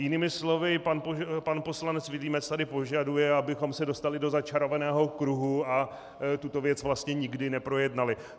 Jinými slovy, pan poslanec Vilímec tady požaduje, abychom se dostali do začarovaného kruhu a tuto věc vlastně nikdy neprojednali.